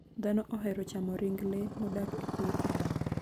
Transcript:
Dhano ohero chamo ring le modak e puothe.